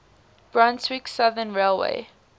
brunswick southern railway